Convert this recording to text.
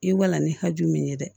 I walan ni hakɛ min ye dɛ